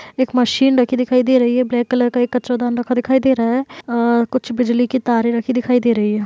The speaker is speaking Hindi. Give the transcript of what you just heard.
एक मशीन रखी दिखाई दे रही हैं। ब्लैक कलर का एक कचरादान रखा दिखाई दे रहा है अ कुछ बिजली की तारे रखी दिखाई दे रही हैं।